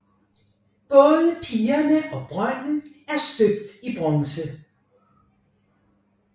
Både pigerne og brønden er støbt i bronze